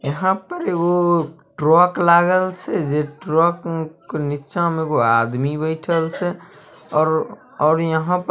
यहां पर एगो ट्रक लागल छै जे ट्रक के निचा में एगो आदमी बइठल छै और और यहां पे एगो---